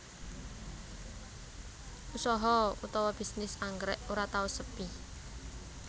Usaha utawa bisnis anggrèk ora tau sepi